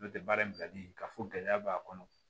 N'o tɛ baara in bilali ka fɔ gɛlɛya b'a kɔnɔ